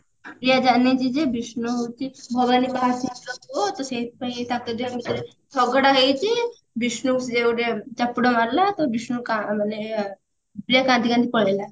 ପ୍ରିୟା ଜାଣିନେଇଛି ଯେ ବିଷ୍ଣୁ ହଉଛି ଭଗବାନ ର ପୁଅ ତ ସେଇଥିପାଇଁ ତାଙ୍କ ଦି ଜଣଙ୍କ ଭିତରେ ଝଗଡା ହେଇଛି ବିଷ୍ଣୁ ସିଏ ଗୋଟେ ଚାପୁଡା ମାରିଲା ତ ବିଷ୍ଣୁ କା ମାନେ ପ୍ରିୟା କାନ୍ଦି କାନ୍ଦି ପଳେଇଲା